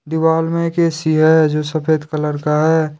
दीवाल मे एक ए_सी है जो सफेद कलर का है।